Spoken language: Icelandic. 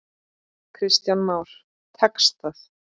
Kristján Már: Tekst það?